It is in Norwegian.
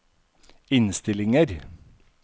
innstillinger